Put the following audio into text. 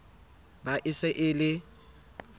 ba e se e le